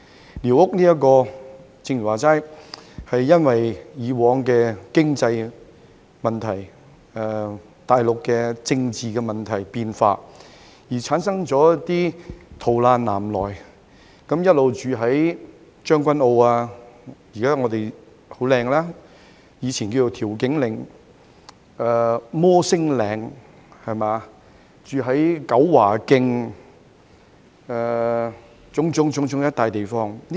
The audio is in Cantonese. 正如剛才所說，寮屋的由來是基於過往的經濟問題及大陸政治問題和變化，而導致逃難南來的難民聚居於現已變得很美，但以前稱為調景嶺的將軍澳，以至摩星嶺、九華徑等種種地方。